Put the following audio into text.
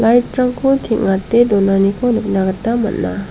lait rangko teng·ate donaniko nikna gita man·a.